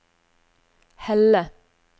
Helle